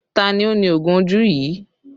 Ta ni ó ní oògùn ojú yìí?